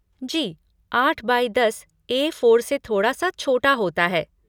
जी, आठ बाई दस ए फ़ोर से थोड़ा सा छोटा होता है।